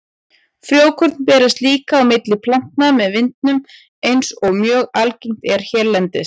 Frjókorn berast líka á milli plantna með vindinum eins og mjög algengt er hérlendis.